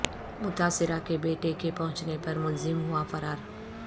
متاثرہ کے بیٹے کے پہنچنے پر ملزم ہوا فرار